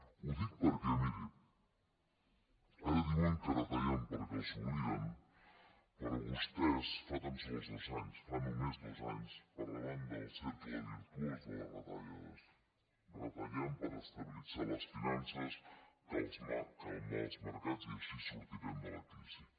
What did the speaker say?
ho dic perquè miri ara diuen que retallen perquè els hi obliguen però vostès fa tan sols dos anys fa només dos anys parlaven del cercle virtuós de les retallades retallem per estabilitzar les finances calmar els mercats i així sortirem de la crisi